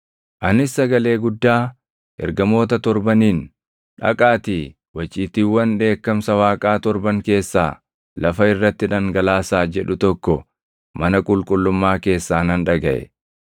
Anis sagalee guddaa, ergamoota torbaniin, “Dhaqaatii, waciitiiwwan dheekkamsa Waaqaa torban keessaa lafa irratti dhangalaasaa” jedhu tokko mana qulqullummaa keessaa nan dhagaʼe.